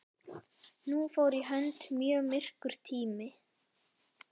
Nú fór í hönd mjög myrkur tími.